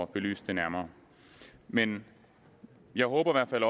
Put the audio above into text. belyst det nærmere men jeg håber i hvert fald